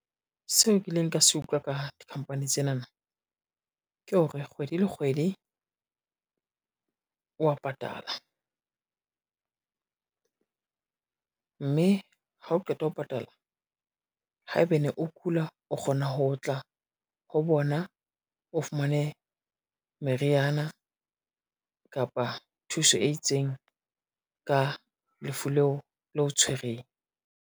Seo kileng ka se utlwa ka di-company tsenaba ke hore kgwedi le kgwedi, wa patala, mme hao qeta ho patala haebane o kula o kgona ho tla ho bona, o fumane meriana kapa thuso e itseng ka lefu leo le o tshwereng.